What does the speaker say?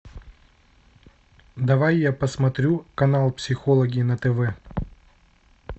давай я посмотрю канал психологи на тв